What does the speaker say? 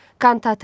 Kantata.